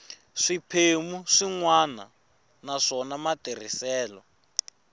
swiphemu swin wana naswona matirhiselo